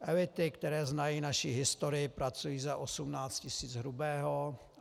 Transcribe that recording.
Elity, které znají naší historii, pracují za 18 tis. hrubého.